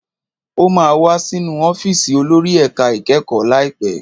Ó máa wá sínú ọ́fíìsì olórí ẹ̀ka ìkẹ́kọ̀ọ́ láìpẹ́.